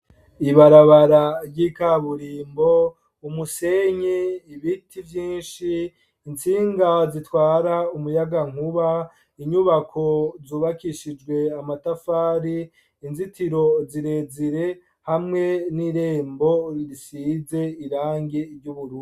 Ibarabara ry'ikaburimbo, umusenyi, ibiti vyinshi, intsinga zitwara umuyaga nkuba, inyubako zubakishijwe amatafari, inzitiro zirezire hamwe n'irembo risize irangi ryubururu.